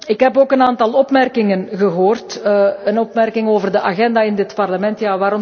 Ik heb ook een aantal opmerkingen gehoord, een opmerking over de agenda in dit parlement.